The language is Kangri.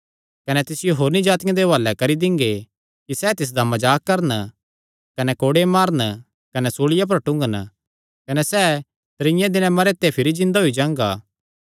कने तिसियो होरनी जातिआं दे हुआलैं करी दिंगे कि सैह़ तिसदा मजाक करन कने कोड़े मारन कने सूल़िया पर टूंगन कने सैह़ त्रीये दिने भिरी जिन्दा होई जांगा